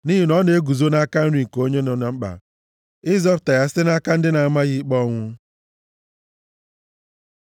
Nʼihi na ọ na-eguzo nʼaka nri nke onye nọ na mkpa, ịzọpụta ya site nʼaka ndị na-ama ya ikpe ọnwụ.